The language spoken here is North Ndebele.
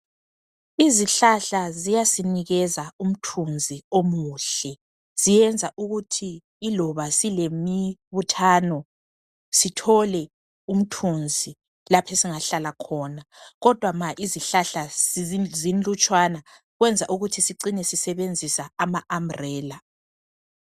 Izihlahla ziyasinikeza umthunzi omuhle, ziyenza ukuthi iloba silemibuthano sithole umthunzi laphe esingahlala khona kodwa ma izihlahla zinlutshwana kwenza ukuthi sicine sisebenzisa ama umbrella